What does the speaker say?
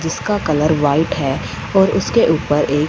जिसका colour white है और उसके ऊपर एक--